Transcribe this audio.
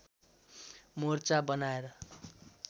मोर्चा बनाएर